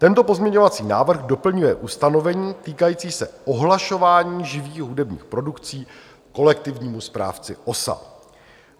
Tento pozměňovací návrh doplňuje ustanovení týkající se ohlašování živých hudebních produkcí kolektivnímu správci OSA.